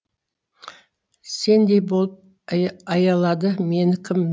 сендей болып аялады мені кім